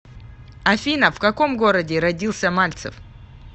афина в каком городе родился мальцев